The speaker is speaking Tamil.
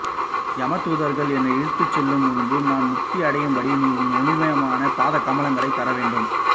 யம தூதர்கள் என்னை இழுத்துச் செல்லும் முன்பு நான் முக்தி அடையும்படி நீ உன் ஒளிமயமான பாதகமலங்களைத் தரவேண்டும்